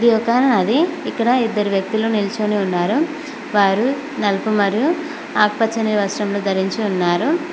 ఇది ఒక నది ఇక్కడ ఇద్దరు వెళ్తులు నిల్చోని ఉన్నారు నలుపూ మరియు ఆకుపచ్చ వస్త్రములు ధరించి ఉన్నారు.